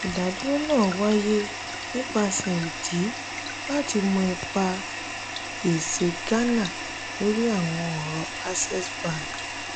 ìdádúró náà wáyé nípasẹ̀ ìdí láti mọ ipa gbèsè ghana lórí àwọn ọ̀rọ̀ access bank.